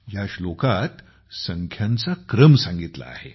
ह्या श्लोकात संख्याचा क्रम सांगितला आहे